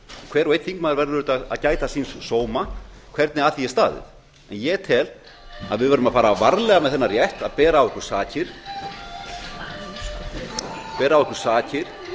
hver og einn þingmaður verður auðvitað að gæta síns sóma hvernig að því er staðið en ég tel að við verðum að fara varlega með þennan rétt að bera af okkur sakir